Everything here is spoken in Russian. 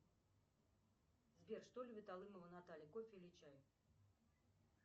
сбер что любит алымова наталья кофе или чай